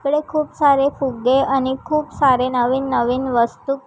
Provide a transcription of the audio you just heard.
तिकडे खूप सारे फुग्गे आणि खूप सारे नवीन नवीन वस्तू--